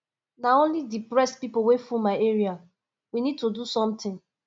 na only depressed people wey full my area we need to do something